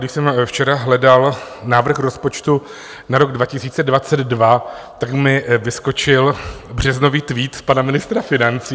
Když jsem včera hledal návrh rozpočtu na rok 2022, tak mi vyskočil březnový tweet pana ministra financí.